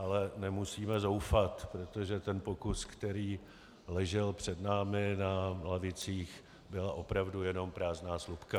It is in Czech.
Ale nemusíme zoufat, protože ten pokus, který ležel před námi na lavicích, byla opravdu jenom prázdná slupka.